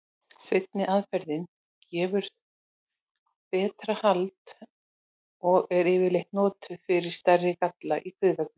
Seinni aðferðin gefur betra hald og er yfirleitt notuð fyrir stærri galla í kviðveggnum.